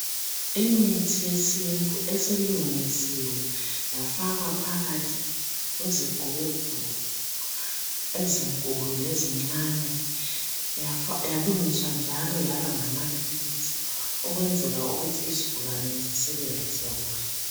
Imithi yesintu esilungisiwe yafakwa phakathi kwezigubhu ezinkulu lezincane yalungiswa njalo yaba ngamaphilisi ukwenzela ukuthi izigulani zisebenzisa kuhle .